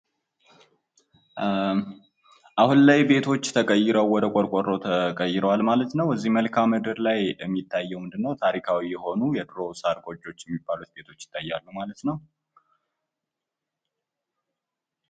አሁን ላይ ቤቶች ተቀይረው ወደ ቆርቆሮ ቤት የተቀየሩ ሲሆን፤ በምስሉ ላይ የምንመለከተው ታሪካዊ የሆኑ የድሮ ጎጆ ቤቶችን ነው።